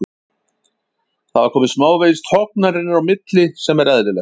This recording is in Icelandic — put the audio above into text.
Það hafa komið smávegis tognanir inn á milli sem er eðlilegt.